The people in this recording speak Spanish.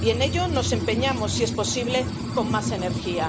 Y en ello nos empeñamos, si es posible, con más energía.